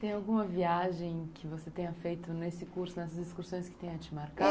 Tem alguma viagem que você tenha feito nesse curso, nessas excursões que tenha te marcado?